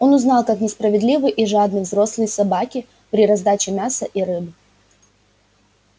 он узнал как несправедливы и жадны взрослые собаки при раздаче мяса и рыбы